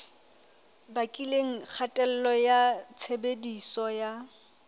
bakileng kgatello ya tshebediso ya